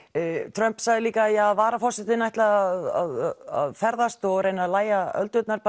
Trump sagði líka að varaforsetinn ætlaði að ferðast og reyna að lægja öldurnar